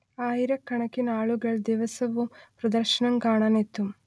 ആയിരക്കണക്കിനാളുകൾ ദിവസവും പ്രദർശനം കാണാൻ എത്തും